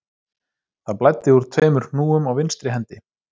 Það blæddi úr tveimur hnúum á vinstri hendi